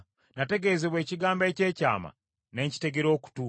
“Nategeezebwa ekigambo eky’ekyama, ne nkitegera okutu.